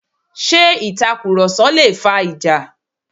Ṣé itakuroso lé fà ìjà?